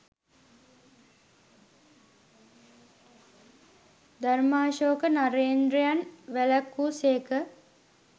ධර්මාශෝක නරේන්ද්‍රයන් වැළැක්වූ සේක